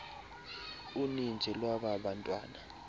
uninzi lwaba bantwana